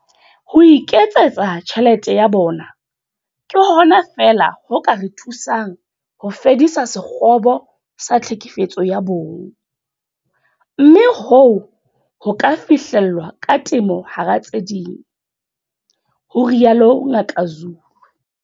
Ho iketsetsa tjhelete ya bona ke hona fela ho ka re thusang ho fedisa sekgobo sa tlhekefetso ya bong, mme hoo ho ka fihlellwa ka temo hara tse ding, ho rialo Ngaka Zulu.